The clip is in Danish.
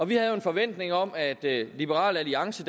vi havde jo en forventning om at liberal alliance